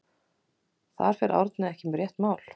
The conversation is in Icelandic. Þar fer Árni ekki með rétt mál.